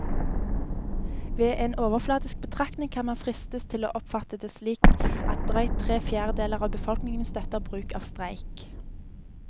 Ved en overfladisk betraktning kan man fristes til å oppfatte det slik at drøyt tre fjerdedeler av befolkningen støtter bruk av streik.